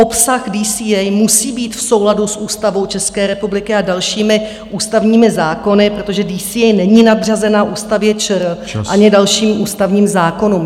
Obsah DCA musí být v souladu s Ústavou České republiky a dalšími ústavními zákony, protože DCA není nadřazena Ústavě ČR... ani dalším ústavním zákonům.